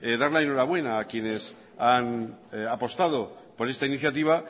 dar la enhorabuena a quienes han apostado por esta iniciativa